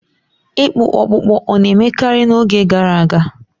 Ịkpụ ọkpụkpụ ọ̀ na-emekarị n'oge gara aga?